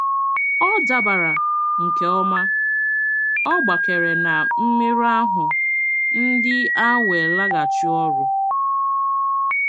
Ọ dabara nke ọma, ọ gbakere na mmerụ ahụ ndị a wee laghachi ọrụ.